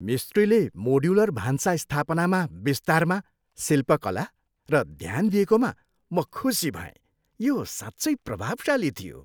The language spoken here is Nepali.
मिस्त्रीसे मोड्युलर भान्सा स्थापनामा विस्तारमा शिल्पकला र ध्यान दिएकोमा म खुसी भएँ। यो साँच्चै प्रभावशाली थियो।